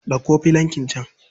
Ɗauko filankin can.